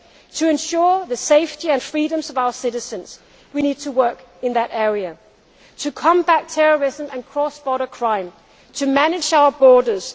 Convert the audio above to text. To ensure the safety and freedoms of our citizens we need to work in that area to combat terrorism and cross border crime to manage our borders